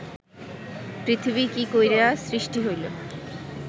পৃথিবী কি কইরা সৃষ্টি হইল